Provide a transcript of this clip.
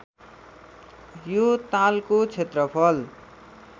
यो तालको क्षेत्रफल